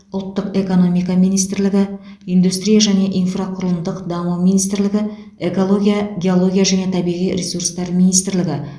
ұлттық экономика министрлігі индустрия және инфрақұрылымдық даму министрлігі экология геология және табиғи ресурстар министрлігі